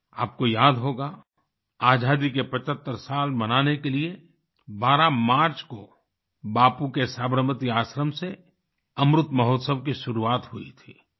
आपको याद होगा आज़ादी के 75 साल मनाने के लिए 12 मार्च को बापू के साबरमती आश्रम से अमृत महोत्सव की शुरुआत हुई थी